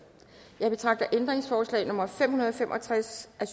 jeg betragter ændringsforslag nummer fem hundrede og fem og tres af